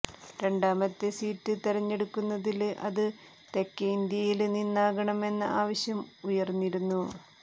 രണ്ടാമത്തെ സീറ്റ് തെരഞ്ഞെടുക്കുന്നെങ്കില് അത് തെക്കേ ഇന്ത്യയില് നിന്നാകണമെന്ന ആവശ്യം ഉയര്ന്നിരുന്നു